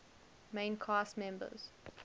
main cast members